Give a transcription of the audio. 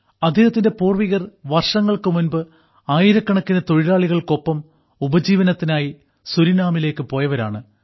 അദ്ദേഹത്തിന്റെ പൂർവ്വികർ വർഷങ്ങൾക്ക് മുമ്പ് ആയിരക്കണക്കിന് തൊഴിലാളികൾക്കൊപ്പം ഉപജീവനത്തിനായി സുരിനാമിലേക്ക് പോയവരാണ്